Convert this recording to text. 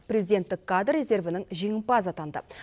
президенттік кадр резервінің жеңімпазы атанды